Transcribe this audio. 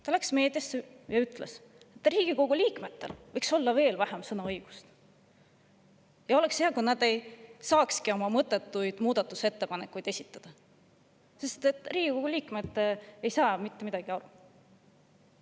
Ta läks meediasse ja ütles, et Riigikogu liikmetel võiks olla veel vähem sõnaõigust, oleks hea, kui nad ei saakski oma mõttetuid muudatusettepanekuid esitada, sest Riigikogu liikmed ei saa mitte millestki aru.